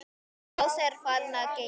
Lási er farinn að geyma.